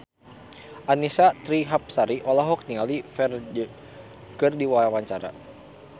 Annisa Trihapsari olohok ningali Ferdge keur diwawancara